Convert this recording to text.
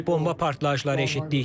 Bomba partlayışları eşitdik.